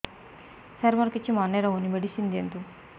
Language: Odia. ସାର ମୋର କିଛି ମନେ ରହୁନି ମେଡିସିନ ଦିଅନ୍ତୁ